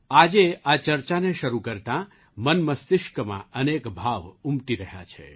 આજે આ ચર્ચાને શરૂ કરતાં મનમસ્તિષ્કમાં અનેક ભાવ ઉમટી રહ્યા છે